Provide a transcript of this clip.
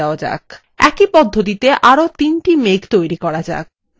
একই পদ্ধতিতে আরো একটি মেঘ তৈরি করা যাক